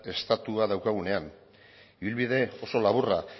estatua daukagunean ibilbide oso laburra